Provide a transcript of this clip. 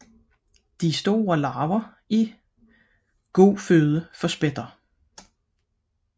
De store larver er eftertragtet føde for spætter